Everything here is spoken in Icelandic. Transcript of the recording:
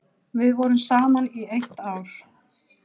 Við vorum saman í eitt ár.